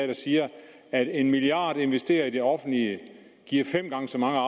der siger at en milliard investeret i det offentlige giver fem gange så mange